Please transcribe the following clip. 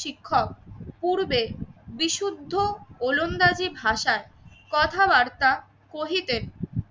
শিক্ষক পূর্বে বিশুদ্ধ ও ওলনদাজি ভাষায় কথাবার্তা কহিতে